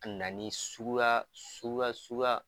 A nana ni suguya suguya suguya